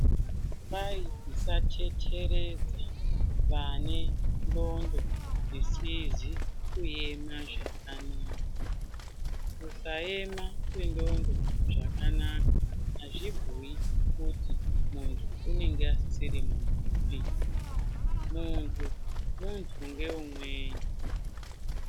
Kwai tisateteredza vane nxondo dzisizi kuema zvakanaka, kusaema kwenxondo zvakanaka hazvibhuyi kuti muntu unenge asisiri muntupi ,muntu ,muntu ngeumweni .